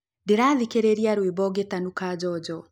Ndĩrathikĩrĩrĩa rwĩmbo ngĩtanuka njonjo